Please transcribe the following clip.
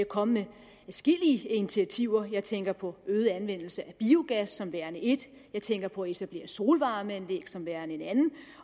kommet med adskillige initiativer her tænker jeg på øget anvendelse af biogas som værende et jeg tænker på etablering af solvarmeanlæg som værende et andet